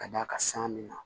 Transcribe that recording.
Ka d'a kan san min na